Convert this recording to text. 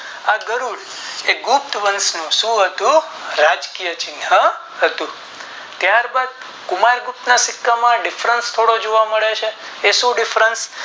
આ ગરુડ એ ગુપ્ત વંશ નું શું હતું રાજકીય ચિન્હ હતું ત્યાર બાદ કુમાર ગુપ્ત ના સિક્કા માં થોડો Different જોવા મળે છે એ Different